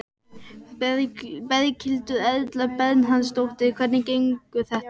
Berghildur Erla Bernharðsdóttir: Hvernig gengur þetta?